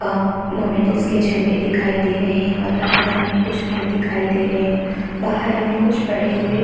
और मामेडियन्स के झंडे दिखाई दे रहे रहे है और यहाँ पर हमें कुछ पेड़ दिखाई दे रहे है बाहर हमें कुछ पड़े हुए --